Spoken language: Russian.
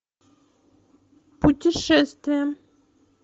путешествие